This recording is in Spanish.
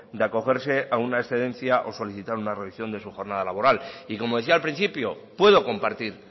de acogerse a una excedencia o solicitar una revisión de su jornada laboral y como decía al principio puedo compartir